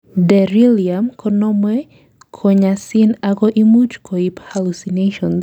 delirium konomei konyosin ago imuch koib hallucinations